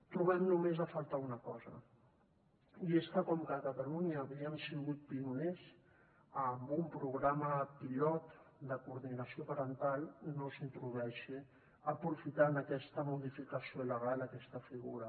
trobem només a faltar una cosa i és que com que a catalunya havíem sigut pioners amb un programa pilot de coordinació parental no s’hi introdueixi aprofitant aquesta modificació legal aquesta figura